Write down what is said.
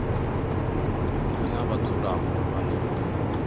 nnyi na vhadzulapo vhane vha